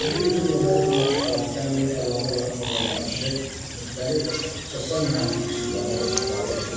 Təbii ki, hücum növləri bununla kifayətlənmir, əlavə olaraq bununla yanaşı müxtəlif sosial mühəndislik üsullarından da istifadə edilir.